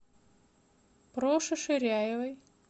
проше ширяевой